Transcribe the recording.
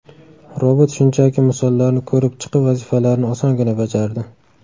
Robot shunchaki misollarni ko‘rib chiqib vazifalarni osongina bajardi.